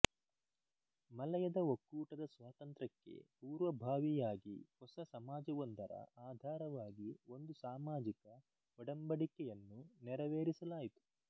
ಮಲಯದ ಒಕ್ಕೂಟದ ಸ್ವಾತಂತ್ರ್ಯಕ್ಕೆ ಪೂರ್ವಭಾವಿಯಾಗಿ ಹೊಸ ಸಮಾಜವೊಂದರ ಆಧಾರವಾಗಿ ಒಂದು ಸಾಮಾಜಿಕ ಒಡಂಬಡಿಕೆಯನ್ನು ನೆರವೇರಿಸಲಾಯಿತು